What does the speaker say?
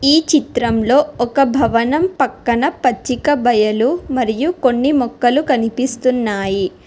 ఈ చిత్రంలో ఒక భవనం పక్కన పచ్చిక బయలు మరియు కొన్ని మొక్కలు కనిపిస్తున్నాయి.